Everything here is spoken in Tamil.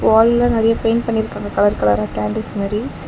வால்ல நறைய பெயிண்ட் பண்ணிருக்காங்க கலர் கலரா கேண்டிஸ் மாரி.